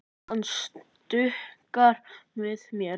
Hann stuggar við mér.